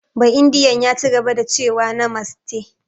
Ba'indiyan ya cigaba da cewa "Namaste"